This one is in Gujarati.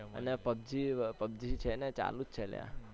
અને pubg છે ને ચાલુજ છે અલ્યા